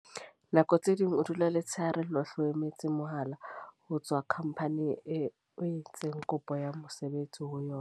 Nako tse ding o dula letshehare lohle. O emetse mohala ho tswa company-ing eo o entseng kopo ya mosebetsi ho yona.